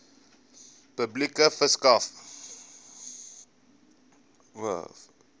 publikasie verskaf